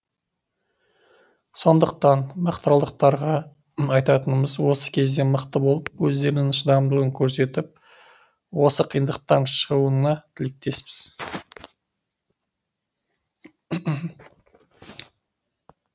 сондықтан мақтааралдықтарға айтатынымыз осы кезде мықты болып өздерінің шыдамдылығын көрсетіп осы қиындықтан шығуына тілектеспіз